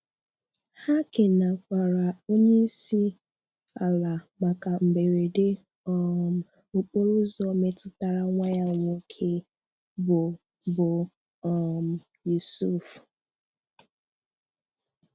Ha kènekwàrà onyeisiala maka mberede um okporoụ̀zọ metụtara nwá ya nwoke bụ bụ um Yusuf.